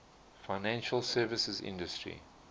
financial services industry